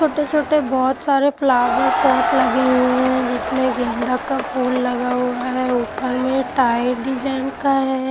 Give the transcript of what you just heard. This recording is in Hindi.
छोटे छोटे बहोत सारे फ्लावर पॉट लगे हुए हैं जिसमें गेंद का फूल लगा हुआ है ऊपर में टायर डिजाइन का है।